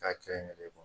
K'a kɛ n yɛrɛ ye